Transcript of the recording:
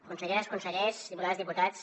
conselleres consellers diputades diputats